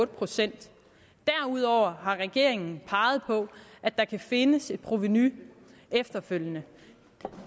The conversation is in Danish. procent derudover har regeringen peget på at der kan findes et provenu efterfølgende